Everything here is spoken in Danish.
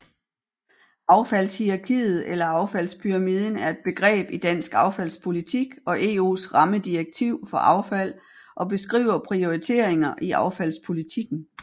Affaldshierarkiet eller affaldspyramiden er et begreb i dansk affaldspolitik og EUs rammedirektiv for affald og beskriver prioriteringer i affaldspolitikken